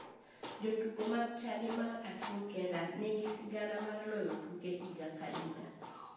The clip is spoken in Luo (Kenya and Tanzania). Jotugo mag chadi mar achung' kenda nigi sigana mar loyo tuke higa ka higa.